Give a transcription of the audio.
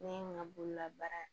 Ne ye n ka bolola baara